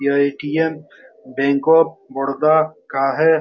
यह ATM. Bank of Baroda का है।